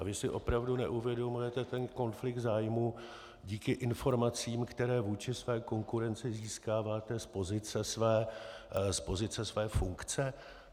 A vy si opravdu neuvědomujete ten konflikt zájmů díky informacím, které vůči své konkurenci získáváte z pozice své funkce?